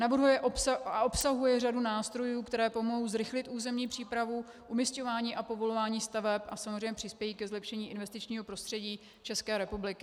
Navrhuje a obsahuje řadu nástrojů, které pomohou zrychlit územní přípravu, umisťování a povolování staveb a samozřejmě přispějí ke zlepšení investičního prostředí České republiky.